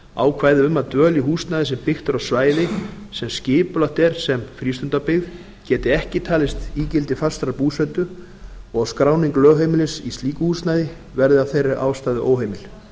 ákvæði um að dvöl í húsnæði sem byggt er á svæði sem skipulagt er sem frístundabyggð geti ekki talist ígildi fastrar búsetu og skráning lögheimilis í slíku húsnæði verði f þeirri ástæðu óheimil